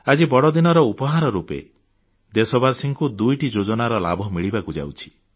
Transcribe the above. ଆଜି ବଡଦିନରେ ଉପହାର ରୂପ ଦେଶବାସୀଙ୍କୁ ଦୁଇଟି ଯୋଜନାର ଲାଭ ମିଳିବାକୁ ଯାଉଛି